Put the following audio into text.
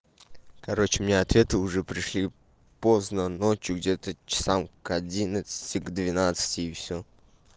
короче мне ответы уже пришли поздно ночью где-то часам к одиннадцати к двенадцати и всё